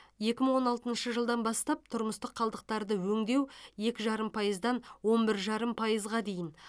екі мың он алтыншы жылдан бастап тұрмыстық қалдықтарды өңдеу екі жарым пайыздан он бір жарым пайызға дейін